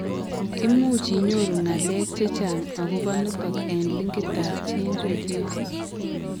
Imuch inyoru ng'alek chechang akobo nitok en linkit ab GeneReviews